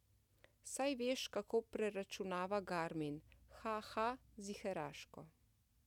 Saj veš, kako preračunava garmin, ha, ha, ziheraško.